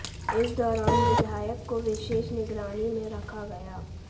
इस दौरान विधायक को विशेष निगरानी में रखा गया